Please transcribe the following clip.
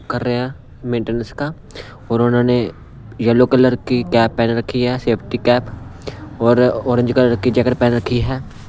कर रहे हैं मेंटेनेंस का और उन्होंने येलो कलर की कैप पहन रखी हैसेफ़्टी कैप और ऑरेंज कलर की जैकेट पहन रखी है।